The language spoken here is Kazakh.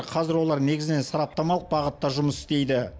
қазір олар негізінен сараптамалық бағытта жұмыс істейді